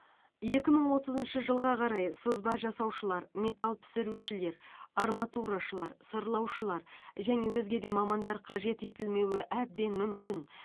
екі мың отызыншы жылға қарай сызба жасаушылар металл пісірушілер арматурашылар сырлаушылар және өзге де мамандар қажет етілмеуі әбден мүмкін